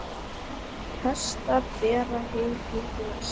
Hestar bera hey í lest.